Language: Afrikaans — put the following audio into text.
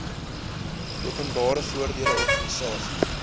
openbare voordele organisasies